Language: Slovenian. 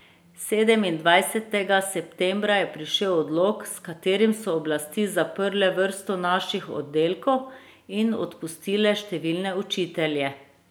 Sedemindvajsetega septembra je prišel odlok, s katerim so oblasti zaprle vrsto naših oddelkov in odpustile številne učitelje.